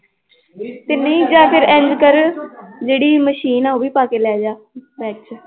ਤੇ ਨਹੀਂ ਜਾਂ ਫਿਰ ਇੰਞ ਕਰ ਜਿਹੜੀ ਮਸ਼ੀਨ ਆਂ ਉਹ ਵੀ ਪਾ ਕੇ ਲੈ ਜਾ ਵਿੱਚ